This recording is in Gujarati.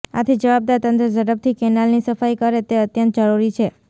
આથી જવાબદાર તંત્ર ઝડપથી કેનાલની સફાઈ કરે તે અત્યંત જરૂરી છે